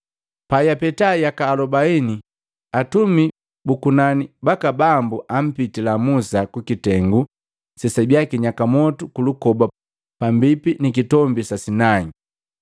“Pajapeta yaka alobaini, Atumi bu kunani baka Bambu ampitila Musa kukitengu sesabia kinyaka motu kulukoba pambipi nikitombi saa Sinai.